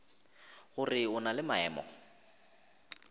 gore o na le maemo